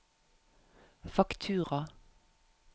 faktura